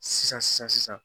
Sisan sisan sisan